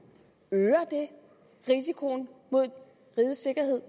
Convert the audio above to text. øger risikoen for rigets sikkerhed